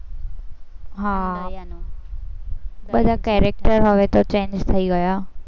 હા અને દયાનું, પેલા character હવે તો change થઇ ગયા.